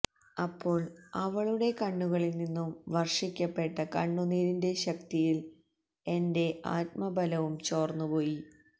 അപ്പോൾ അവളുടെ കണ്ണുകളിൽ നിന്നും വർഷിക്കപ്പെട്ട കണ്ണുനീരിൻറെ ശക്തിയിൽ എൻറെ ആത്മബലവും ചോർന്നു പോയി